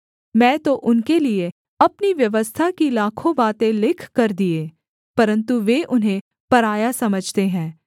मैं तो उनके लिये अपनी व्यवस्था की लाखों बातें लिखकर दिए परन्तु वे उन्हें पराया समझते हैं